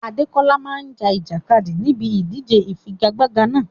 Adekola máa ja ìjàkadì níbi ìdíje ìfigagbága náà.